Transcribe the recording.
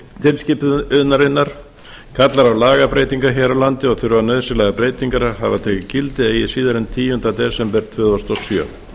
tilskipunarinnar kallar á lagabreytingar hér á landi og þurfa nauðsynlegar breytingar að hafa tekið gildi eigi síðar en tíunda desember tvö þúsund og sjö